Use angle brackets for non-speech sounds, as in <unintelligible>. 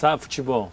<unintelligible> futebol?